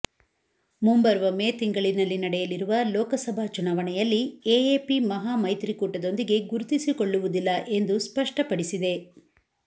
ಮುಂಬರುವ ಮೇ ತಿಂಗಳಿನಲ್ಲಿ ನಡೆಯಲಿರುವ ಲೋಕಸಭಾ ಚುನಾವಣೆಯಲ್ಲಿ ಎಎಪಿ ಮಹಾಮೈತ್ರಿಕೂಟದೊಂದಿಗೆ ಗುರುತಿಸಿಕೊಳ್ಳುವುದಿಲ್ಲ ಎಂದು ಸ್ಪಷ್ಟಪಡಿಸಿದೆ